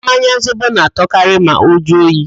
Mmanya Zobo na-atọkarị ma ọ jụọ oyi